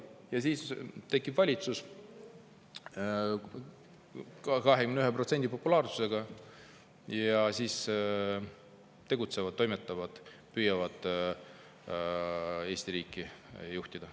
Ja siis tekib valitsus, 21% nad tegutsevad-toimetavad, püüavad Eesti riiki juhtida.